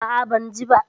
A'a, ban ji ba.